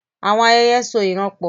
Àwọn ayẹyẹ so ìran pọ̀.